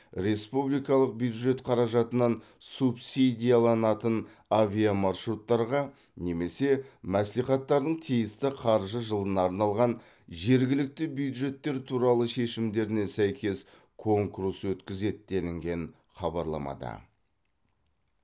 республикалық бюджет қаражатынан субсидияланатын авиамаршруттарға немесе мәслихаттардың тиісті қаржы жылына арналған жергілікті бюджеттер туралы шешімдеріне сәйкес конкурс өткізеді делінген хабарламада